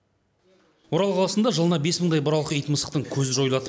орал қаласында жылына бес мыңдай бұралқы ит мысықтардың көзі жойылады